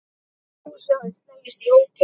Fúsi hafði slegist í hópinn.